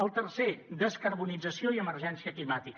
el tercer descarbonització i emergència climàtica